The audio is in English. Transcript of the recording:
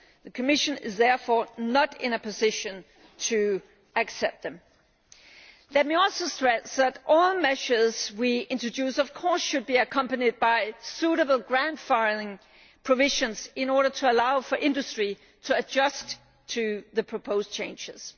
The Commission is therefore not in a position to accept them. Let me also stress that all the measures we introduce should of course be accompanied by suitable grandfathering provisions in order to allow for industry to adjust to the proposed changes.